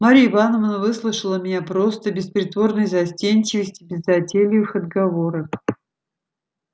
марья ивановна выслушала меня просто без притворной застенчивости без затейливых отговорок